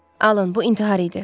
Alan, bu intihar idi.